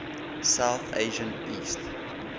south asian east